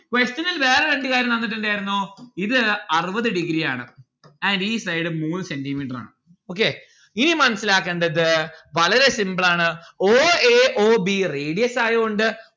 question ഇൽ വേറെ രണ്ട്‌ കാര്യം തന്നിട്ടുണ്ടായിരുന്നു ഇത് അറുപത് degree ആണ് അയിന്റെ ഈ side മൂന്ന് centi metre ആണ്. okay ഇനി മനസ്സിലാക്കണ്ടത് വളരെ simple ആണ്. o a o b radius ആയോണ്ട്